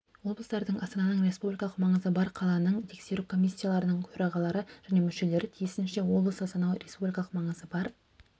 облыстардың астананың республикалық маңызы бар қаланың тексеру комиссияларының төрағалары және мүшелері тиісінше облыс астана республикалық маңызы бар